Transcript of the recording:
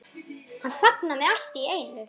Ég er svo svöng.